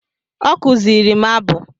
Ọ kụziri m abụ